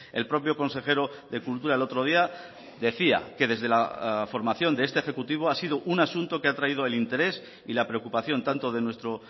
el propio consejero de cultura el otro día decía que desde la formación de este ejecutivo ha sido un asunto que ha atraído el interés y la preocupación tanto de nuestro